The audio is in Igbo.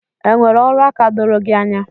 Enwere ọrụaka doro gị anya?